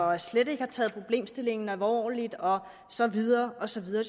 og slet ikke har taget problemstillingen alvorligt og så videre og så videre